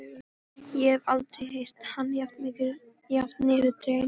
Ég hef aldrei heyrt hann jafn niðurdreginn.